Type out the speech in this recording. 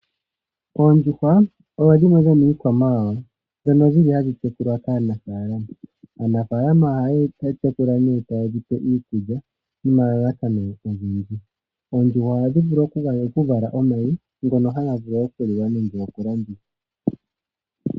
Oondjuhwa odho dhimwe dhomiikwamawawa dhono dhili hadhi tekulwa kaanafaalama, aanafaalama oha yedhi tekula ne taye dhipe iikulya nomalalakano ogendji, oondjuhwa ohadhi vulu okuvala omayi ngono haga vulu okuliwa nenge okulandithwa.